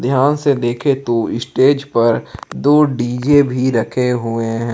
ध्यान से देखें तो स्टेज पर दो डी_जे भी रखे हुए हैं।